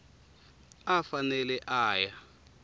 a a fanele a ya